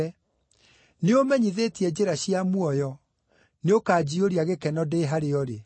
Nĩũũmenyithĩtie njĩra cia muoyo; nĩũkanjiyũria gĩkeno ndĩ harĩa ũrĩ.’